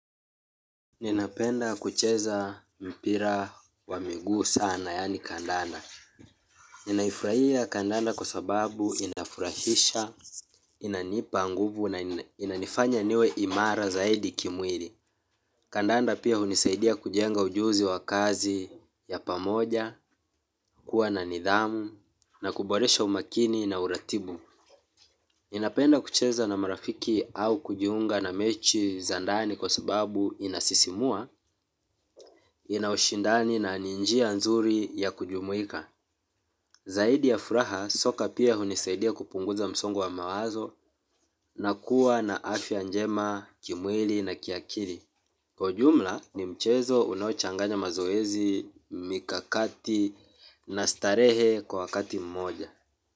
Ninapenda kucheza mpira wa miguu sana yani kandanda. Ninaifurahia kandanda kwa sababu inafurahisha, inanipa nguvu na inanifanya niwe imara zaidi kimwili. Kandanda pia hunisaidia kujenga ujuzi wa kazi ya pamoja, kuwa na nidhamu, na kuboresha umakini na uratibu. Ninapenda kucheza na marafiki au kujiunga na mechi za ndani kwa sababu inasisimua. Ina ushindani na ni njia nzuri ya kujumuika. Zaidi ya furaha soka pia hunisaidia kupunguza msongo wa mawazo. Na kuwa na afya njema, kimwili na kiakili kwa ujumla ni mchezo unaochanganya mazoezi, mikakati na starehe kwa wakati mmoja.